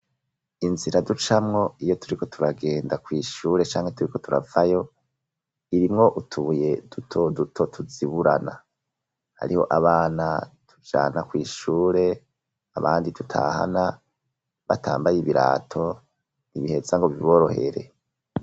Inzira ducamwo iyo turiko turagenda kw'ishure canke turiko turavayo irimwo utuye duto duto tuziburana hariho abana tujana kw'ishure abandi dutahana batambaye ibirato ntibiheza ngo biborohere.